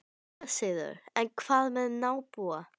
SÉRA SIGURÐUR: En hvað með nábúa.